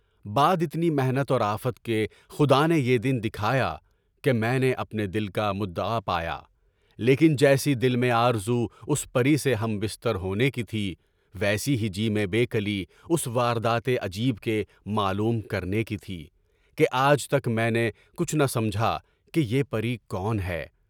بعد اتنی محنت اور آفت کے خدا نے یہ دن دکھایا کہ میں نے اپنے دل کا مدعا پایا، لیکن جیسی دل میں آرزو اس پر ی سے ہمبستر ہونے کی تھی، ویسی ہی جی میں بے کلی اس واردات اے عجیب کے معلوم کرنے کی تھی کہ آج تک میں نے کچھ نہ سمجھا کہ بیر پر میرا کون ہے؟